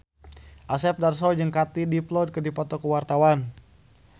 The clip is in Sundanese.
Asep Darso jeung Katie Dippold keur dipoto ku wartawan